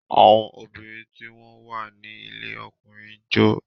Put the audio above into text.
Àwọn obìnrin tí wọ́n wà ní ilé ọkùnrin ń jó.